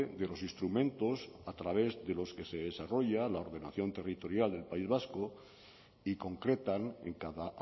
de los instrumentos a través de los que se desarrolla la ordenación territorial del país vasco y concretan en cada